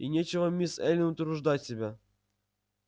и нечего мисс эллин утруждать себя